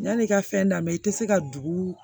Yan'i ka fɛn dami i tɛ se ka dugu